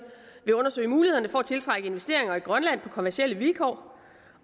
vil undersøge mulighederne for at tiltrække investeringer i grønland på kommercielle vilkår og